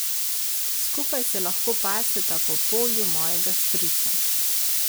Skupaj se lahko paseta po polju mojega strica.